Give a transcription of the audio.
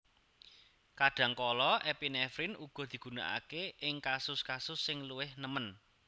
Kadhangkala epinefrin uga digunakake ing kasus kasus sing luwih nemen